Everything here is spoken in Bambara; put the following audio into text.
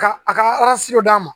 Ka a ka d'a ma